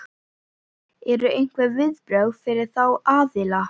Eru einhver viðbrögð fyrir þá aðila?